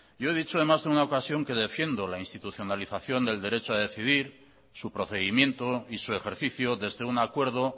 yo he dicho además de una ocasión que defiendo la institucionalización del derecho a decidir su procedimiento y su ejercicio desde un acuerdo